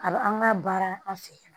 A b'a an ka baara an fɛ yan